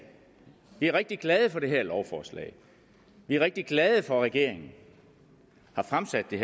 vi er rigtig glade for det her lovforslag vi er rigtig glade for at regeringen har fremsat det